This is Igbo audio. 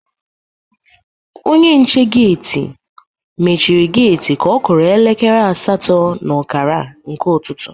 Onye nche geti mechiri geti ka ọ kụrụ elekere asatọ na ọkara nke ụtụtụ.